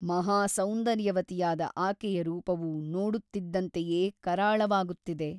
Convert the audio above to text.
ಮಹಾಸೌಂದರ್ಯವತಿಯಾದ ಆಕೆಯ ರೂಪವು ನೋಡುತ್ತಿದ್ದಂತೆಯೇ ಕರಾಳವಾಗುತ್ತಿದೆ.